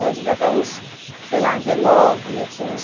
Ela devia ter uns, sei lá, dezenove, eu tinha uns